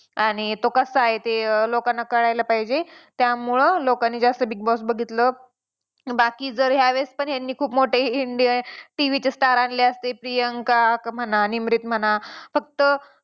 आणि तो कसा आहे ते लोकांना कळायला पाहिजे. त्यामुळं लोकांनी जास्त Big Boss बघितलं. बाकी जर यावेळेस पण ह्यांनी खूप मोठे indian TV चे star आणले असले प्रियांका म्हणा निमरीत म्हणा फक्त